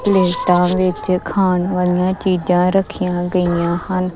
ਲਿਸਟਾਂ ਵਿੱਚ ਖਾਣ ਵਾਲੀਆਂ ਚੀਜਾਂ ਰੱਖੀਆਂ ਗਈਆਂ ਹਨ।